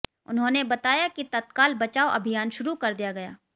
उन्होंने बताया कि तत्काल बचाव अभियान शुरू कर दिया गया